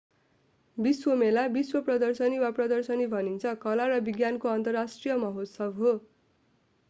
विश्व मेला विश्व प्रदर्शनी वा प्रदर्शनी भनिन्छ कला र विज्ञानको अन्तर्राष्ट्रिय महोत्सव हो।